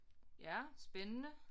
Ja spændende